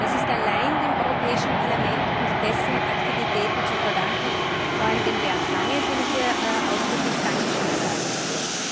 Das ist allein dem Europäischen Parlament und dessen Aktivitäten zu verdanken, vor allem Bernd Lange, dem ich hier ausdrücklich Dankeschön sagen möchte.